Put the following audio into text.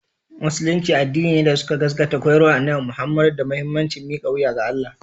Musulunci addini ne da suka gaskata koyarwar Annabi Muhammadu da muhimmancin mika wuya ga Allah